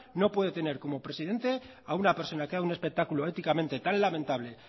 no puede tener como presidente a una persona que ha dado un espectáculo éticamente tan lamentable